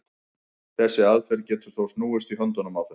þessi aðferð getur þó snúist í höndunum á þeim